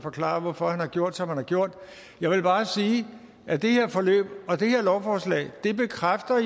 forklare hvorfor han har gjort som han har gjort jeg vil bare sige at det her forløb og det her lovforslag jo bekræfter